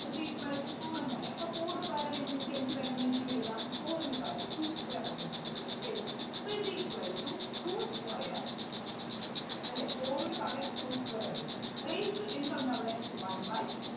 Is equal to four എന്നല്ലേ അപ്പൊ four ന് പകരം എനി എനിക്ക് എന്ത് വേണമെങ്കിലും എഴുതാം four ന് പകരം two square എന്നുവേണമെങ്കിലും എഴുതാം is equal to two square അല്ലേ four ന് പകരം two square എഴുതി raised to എന്തുണ്ട് അവിടെ one by